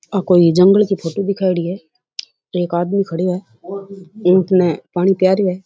आ कोई जंगल की फोटो दिखायोडी है एक आदमी खडियो है ऊंट ने पानी पिया री है।